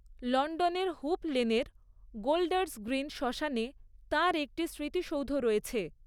লন্ডনের হুপ লেনের Golders Green শ্মশানে তাঁর একটি স্মৃতিসৌধ রয়েছে।